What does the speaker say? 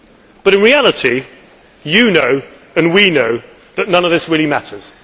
But in reality, you know and we know that none of this really matters.